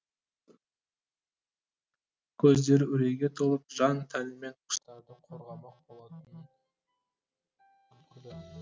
көздері үрейге толып жан тәнімен құстарды қорғамақ болатыны күлкілі